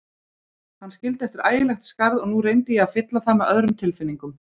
Hann skildi eftir ægilegt skarð og nú reyndi ég að fylla það með öðrum tilfinningum.